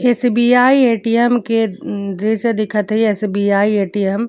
SBI ATM के उम्म जईसे दिखत ई एस_बी_आई ए_टी_एम ।